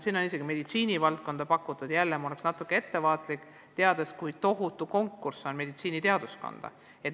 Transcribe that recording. Isegi meditsiini valdkonda on pakutud, aga siin ma jälle oleksin natuke ettevaatlik, teades, kui tohutu konkurss on meditsiiniteaduskonda.